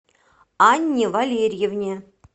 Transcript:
анне валерьевне